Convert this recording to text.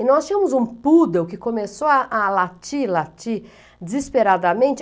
E nós tínhamos um poodle que começou a a latir, latir, desesperadamente.